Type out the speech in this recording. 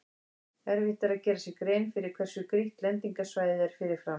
Erfitt er að gera sér grein fyrir hversu grýtt lendingarsvæðið er fyrirfram.